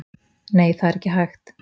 Nei, það er ekki hægt.